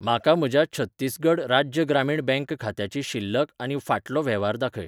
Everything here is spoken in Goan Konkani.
म्हाका म्हज्या छत्तीसगढ राज्य ग्रामीण बँक खात्याची शिल्लक आनी फाटलो वेव्हार दाखय.